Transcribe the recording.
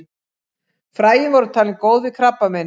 Fræin voru talin góð við krabbameini.